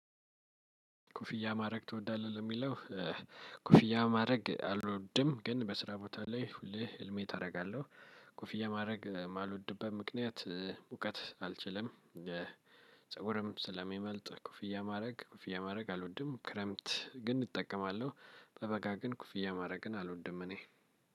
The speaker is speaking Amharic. ኮፍያ ማድረግ ትወዳለህ ለሚለው? ኮፍያ ማድረግ አልወድም ግን በስራ ቦታ ላይ ሁሌ ሄልሜት አደርጋለሁ ኮፊያ ማድረግ የማልወድበት ምክንያት ሙቀት አልችልም። ፀጉርም ስለሚመልጥ ኮፍያ ማድረግ ኮፍያ ማድረግ አልወድም ክረምት ግን እጠቀማለሁ። ጠበቃ ግን ኮፍያ ማድረግን አልወድም እኔ።